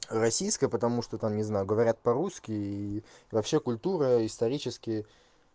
российской потому что там не знаю говорят по-русски и вообще культура исторически